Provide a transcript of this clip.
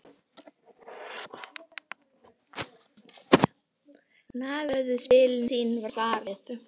Nagaðu spilin þín var svarið.